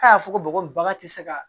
K'a y'a fɔ ko bɔgɔ in bagan tɛ se ka